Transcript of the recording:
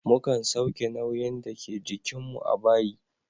Mukan sauke nauyin dake jikin mu a bayi.